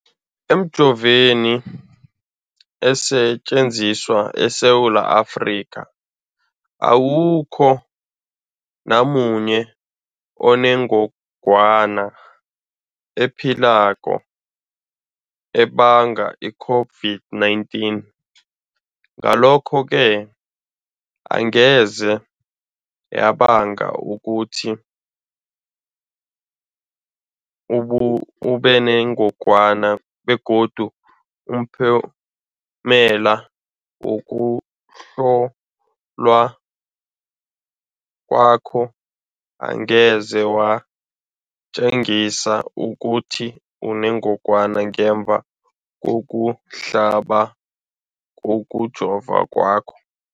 Emijoveni esetjenziswa eSewula Afrika, awukho namunye onengog wana ephilako ebanga i-COVID-19. Ngalokho-ke angeze yabanga ukuthi ubenengogwana begodu umphumela wokuhlolwan kwakho angeze watjengisa ukuthi unengogwana ngemva kokuhlaba, kokujova kwakho.